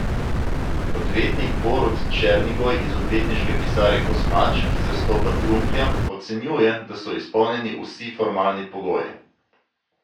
Odvetnik Borut Černigoj iz odvetniške pisarne Kosmač, ki zastopa Trunklja, ocenjuje, da so izpolnjeni vsi formalni pogoji.